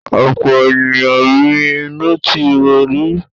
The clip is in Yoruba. Ọ̀pọ̀ ènìyàn mi inú ti ro rí.